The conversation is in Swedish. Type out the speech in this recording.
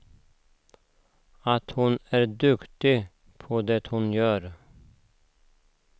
Att hon är duktig på det hon gör.